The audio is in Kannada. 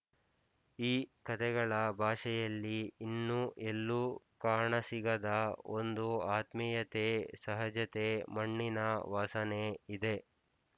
ಈ ಕತೆಗಳ ಭಾಷೆಯಲ್ಲಿ ಇನ್ನು ಎಲ್ಲೂ ಕಾಣಸಿಗದ ಒಂದು ಆತ್ಮೀಯತೆ ಸಹಜತೆ ಮಣ್ಣಿನ ವಾಸನೆ ಇದೆ